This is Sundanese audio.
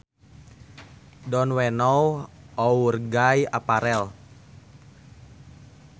Don we now our gay apparel